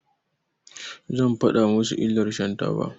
Zan faɗa musu illar shan taba.